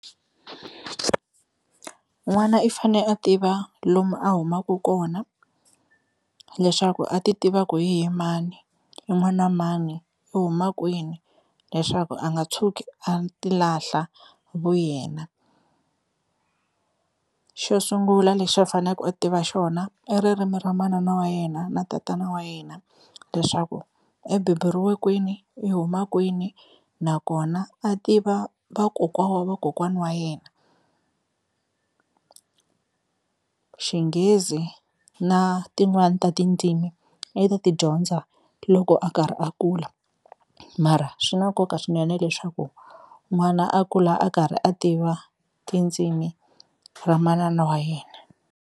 N'wana i fane a tiva lomu a humaka kona leswaku a ti tiva ku hi ye mani, i n'wana mani, i huma kwini leswaku a nga tshuki a ti lahla vu yena. Xo sungula lexi a fanaka u tiva xona i ririmi ra manana wa yena na tatana wa yena, leswaku i beburiwe kwini i huma kwini nakona a tiva vakokwa wa vakokwani wa yena. Xinghezi na tin'wani ta tindzimi i ta ti dyondza loko a karhi a kula mara swi na nkoka swinene leswaku n'wana a kula a karhi a tiva tindzimi ra manana wa yena.